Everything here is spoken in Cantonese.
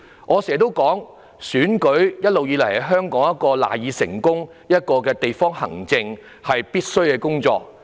我經常說，選舉一直是香港賴以成功的基礎，亦是地方行政必需的工作。